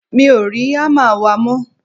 mi ò rí hámà wa mọ́